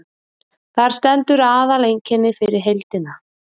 þar stendur aðaleinkennið fyrir heildina